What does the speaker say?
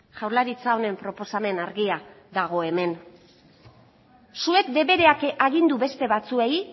jaurlaritza honen proposamen argia dago hemen zuek debereak agindu beste batzuei